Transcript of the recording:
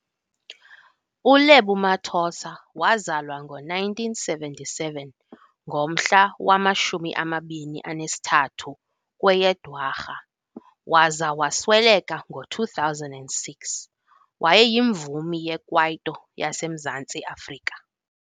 uLebo Mathosa wazalwa ngo1977 ngomhla wama-23 kweyeDwarha waza wasweleka ngo2006, wayeyimvumi yekwaito yaseMzantsi Afrika.